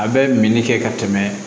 A bɛ min kɛ ka tɛmɛ